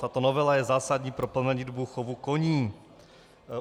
Tato novela je zásadní pro plemenitbu chovu koní.